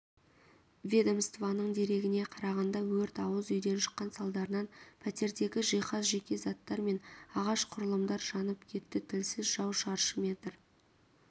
ведомствоның дерегіне қарағанда өрт ауыз үйден шыққан салдарынан пәтердегі жиһаз жеке заттар мен ағаш құрылымдар жанып кетті тілсіз жау шаршы метр